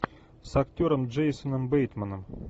с актером джейсоном бейтманом